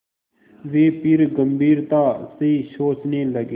वे फिर गम्भीरता से सोचने लगे